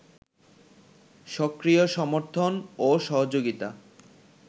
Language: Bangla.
সক্রিয় সমর্থন ও সহযোগিতা